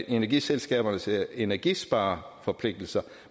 energiselskabernes energispareforpligtelser